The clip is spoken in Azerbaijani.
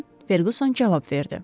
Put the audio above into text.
deyə Ferquson cavab verdi.